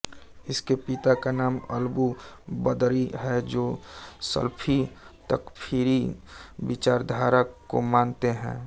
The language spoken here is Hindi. इसके पिता का नाम अलबू बदरी हैं जो सलफ़ी तकफ़ीरी विचारधारा को मानते हैं